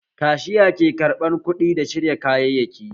Kashiya ke ƙarɓan kuɗi da shirya kayyaki